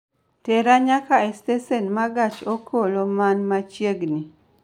tera nyaka e stesen ma gach okoloman machiegni